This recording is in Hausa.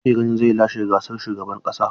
Wa kuke ganin zai lashe zaɓen shugaban ƙasa?